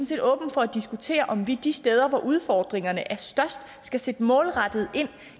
set åbne for at diskutere om vi de steder hvor udfordringerne er størst skal sætte målrettet ind